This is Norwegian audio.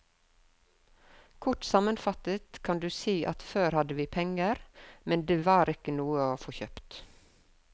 Kort sammenfattet kan du si at før hadde vi penger, men det var ikke noe å få kjøpt.